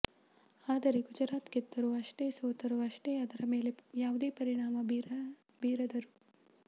ಆದರೆ ಗುಜರಾತ್ ಗೆದ್ದರೂ ಅಷ್ಟೇ ಸೋತರೂ ಅಷ್ಟೇ ಅದರ ಮೇಲೆ ಯಾವುದೇ ಪರಿಣಾಮ ಬೀರದರು